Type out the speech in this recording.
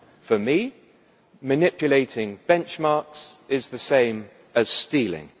For me, manipulating benchmarks is the same as stealing.